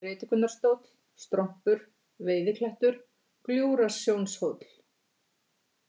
Predikunarstóll, Strompur, Veiðiklettur, Gljúfrasjónarhóll